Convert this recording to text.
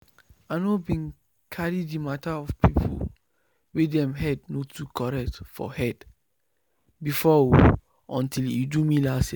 i no been carry the mata of people wey dem head no too correct for head before o until e do me last year